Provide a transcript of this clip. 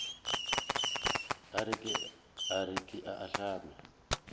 a re ke a ahlama